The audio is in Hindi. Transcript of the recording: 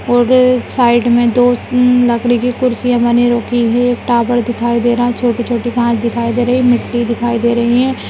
और साइड मे दो उम् लकड़ी की कुर्सियां बनी रखी हैं एक टावर दिखाई दे रहा है छोटे छोटे कांच दिखाई दे रही है मिट्टी दिखाई दे रही है।